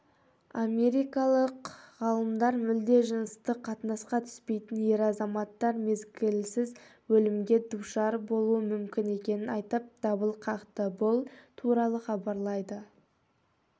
америкалық ғалымдар мүлде жыныстық қатынасқа түспейтін ер азаматтар мезгілсіз өлімге душар болуы мүмкін екенін айтып дабыл қақты бұл туралы хабарлайды